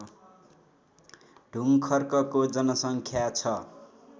ढुङ्खर्कको जनसङ्ख्या छ